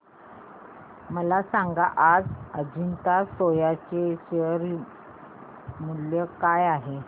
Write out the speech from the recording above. मला सांगा आज अजंता सोया चे शेअर मूल्य काय आहे